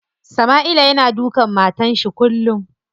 Sama'ila yana dukan matar shi kullum.